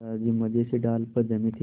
दादाजी मज़े से डाल पर जमे थे